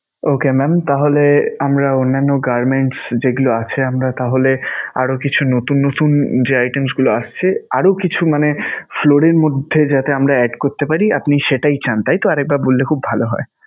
Okay mam তাহলে আমরা অন্যান্য garments যেগুলো আছে আমরা তাহলে আরও কিছু নতুন নতুন যে items গুলো আসছে, আরও কিছু মানে floor এর মধ্যে যাতে আমরা add করতে পারি আপনি সেইটাই চান তাইতো? আর একবার বললে খুব ভালো হয়.